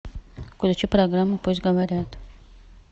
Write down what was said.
включи программу пусть говорят